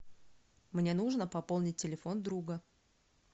мне нужно пополнить телефон друга